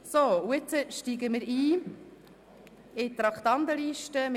Nun steigen wir in die Traktandenliste ein.